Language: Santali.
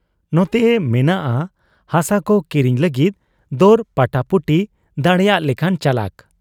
ᱱᱚᱛᱮᱭ ᱢᱮᱱᱟᱜ ᱟ ᱦᱟᱥᱟᱠᱚ ᱠᱤᱨᱤᱧ ᱞᱟᱹᱜᱤᱫ ᱫᱚᱨ ᱯᱟᱴᱟᱯᱩᱴᱤ ᱫᱟᱲᱮᱭᱟᱜ ᱞᱮᱠᱟᱱ ᱪᱟᱞᱟᱠ ᱾